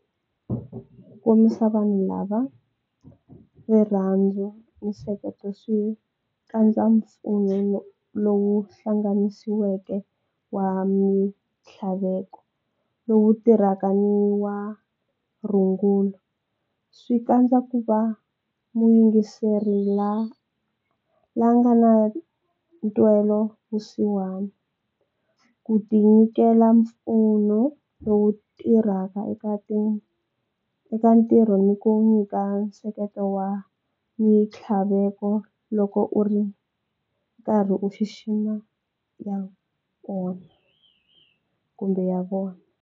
Kombisa vanhu lava rirhandzu, nseketelo swi kandza mpfuno lowu hlanganisiweke wa mitlhaveko lowu tirhaka ni wa rungulo. Swi kandza ku va muyingiseri la nga na ntwela vusiwana ku tinyikela mpfuno lowu tirhaka eka ntirho ni ku nyika nseketelo wa mitlhaveko loko u ri karhi u xixima ya kona kumbe ya vona.